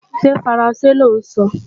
Ṣé faransé lọ́ ń sọ?